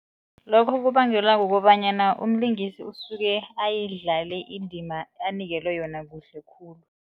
Lokho kubangelwa kukobanyana umlingisi usuke ayidlale indima anikelwe yona kuhle khulu.